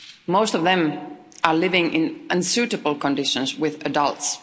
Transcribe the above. Most of them are living in unsuitable conditions with adults.